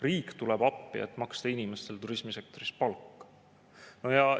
Riik tuleb appi, et maksta inimestele turismisektoris palka?